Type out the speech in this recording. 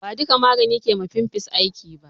Ba duƙa magani ke ma fimfles aiki ba